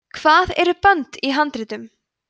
hvað eru bönd í handritum